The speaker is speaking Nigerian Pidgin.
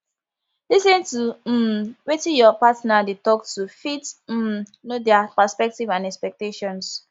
lis ten to um wetin your partner dey talk to fit um know their perspective and expectations